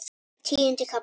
Tíundi kafli